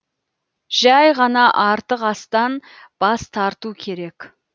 жәй ғана артық астан бас тарту керек